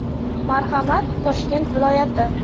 Marhamat, Toshkent viloyati.